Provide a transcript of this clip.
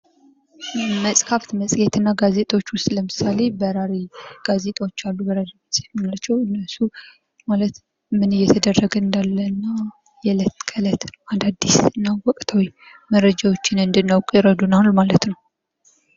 መጽሐፍት መጽሄት እና ጋዜጦች ውስጥ ለምሳሌ በራሪ ጋዜጦች አሉ። በራሪ ጋዜጦች የምንላቸው እነሱ ማለት ምን እየተደረገ እንዳለና የዕለት ከለት አዳዲስና ወቅታዊ መረጃዎችን እንድናውቅ ይረዱናል ማለት ነው።